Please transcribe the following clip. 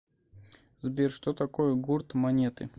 сбер что такое гурт монеты